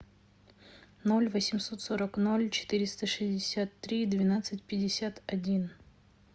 ноль восемьсот сорок ноль четыреста шестьдесят три двенадцать пятьдесят один